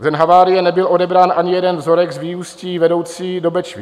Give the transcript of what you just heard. V den havárie nebyl odebrán ani jeden vzorek z vyústí vedoucích do Bečvy.